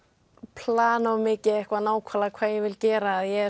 plana of mikið nákvæmlega hvað ég vil gera ég